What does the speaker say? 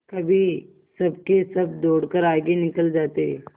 कभी सबके सब दौड़कर आगे निकल जाते